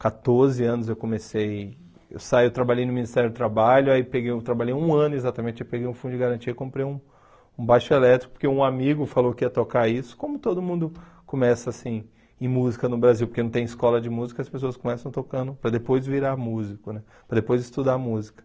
Com quatorze anos eu comecei, eu saí, eu trabalhei no Ministério do Trabalho, aí peguei um trabalhei um ano exatamente, eu peguei um fundo de garantia e comprei um um baixo elétrico, porque um amigo falou que ia tocar isso, como todo mundo começa assim, em música no Brasil, porque não tem escola de música, as pessoas começam tocando para depois virar músico, para depois estudar música.